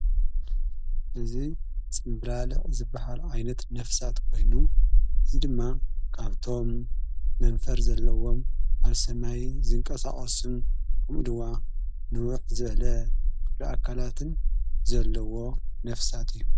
እዚ ጽምብላሊዕ ዝበሃል ዓይነት ነፍሳት ኮይኑ እዙይ ድማ ቃብቶም መንፈር ዘለዎም ኣልሰማይ ዘንቀሣቐስን ምኡ ድዋ ንውኅ ዝበለ ረኣካላትን ዘለዎ ነፍሳት እዩ።